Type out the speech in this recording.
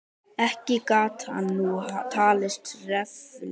Ekki gat hann nú talist reffilegur.